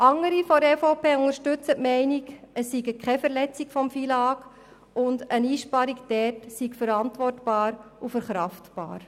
Andere in der EVP unterstützen die Meinung, es liege keine Verletzung des FILAG vor und eine Einsparung sei verantwortbar und verkraftbar.